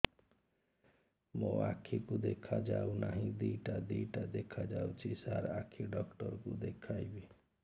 ମୋ ଆଖିକୁ ଦେଖା ଯାଉ ନାହିଁ ଦିଇଟା ଦିଇଟା ଦେଖା ଯାଉଛି ସାର୍ ଆଖି ଡକ୍ଟର କୁ ଦେଖାଇବି